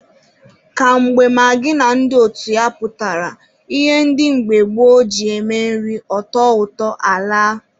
Ka mgbe magị na ndị otu ya pụtara, ihe ndị mgbe gboo ji eme nri ọ tọọ ụtọ alaa.